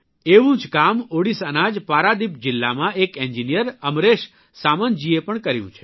એવું જ કામ ઓડીશાના જ પારાદીપ જીલ્લામાં એક એન્જિનિયર અમરેશ સામંતજીએ પણ કર્યું છે